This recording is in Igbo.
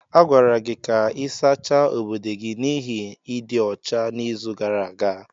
A gwara gị ka ị sachaa obodo gị n'ihi ịdị ọcha n'izu gara aga.